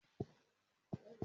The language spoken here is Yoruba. Máa Lọ ra èso "cashew" ni ọjà.